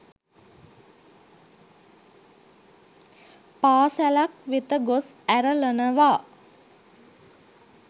පාසැලක් වෙත ගොස් ඇරලනවා.